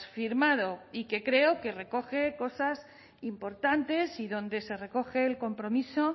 firmado y que creo que recoge cosas importantes y donde se recoge el compromiso